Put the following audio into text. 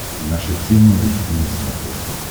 наша тема эйч ди на смотрешке